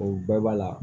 O bɛɛ b'a la